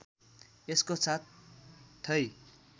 यसको साथ थै